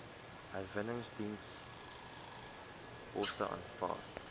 herwinningsdepots aanvaar